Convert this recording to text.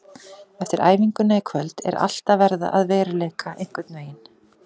Eftir æfinguna í kvöld er allt að verða að veruleika einhvern veginn.